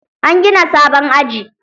An gina sabon aji.